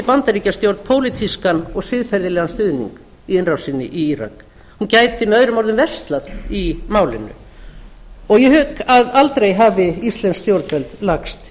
bandaríkjastjórn pólitískan og siðferðilegan stuðning í innrásinni í írak hún gæti möo verslað í málinu ég hygg að aldrei hafi íslensk stjórnvöld lagst